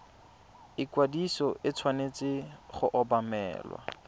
ikwadiso e tshwanetse go obamelwa